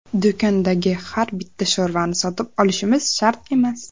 Do‘kondagi har bitta sho‘rvani sotib olishimiz shart emas.